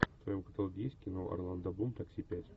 в твоем каталоге есть кино орландо блум такси пять